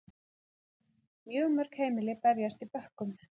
Mjög mörg heimili berjast í bökkum